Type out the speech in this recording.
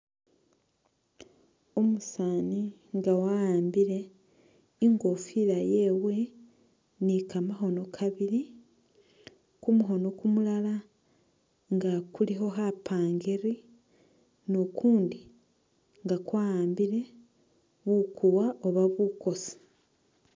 Umusaani nga wa'ambile i'ngofila yewe ni kamakhono kabili, kumukhono kumulala nga kulikho khapangiri, ni kukundi nga kwa'ambile bukuwa oba bukosi.